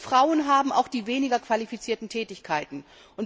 Frauen üben auch die weniger qualifizierten Tätigkeiten aus.